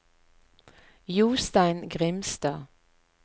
Jostein Grimstad